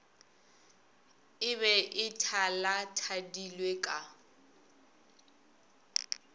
e be e thalathadilwe ka